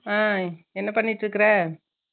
அஹ் என்ன பண்ணிட்டு இருக்குற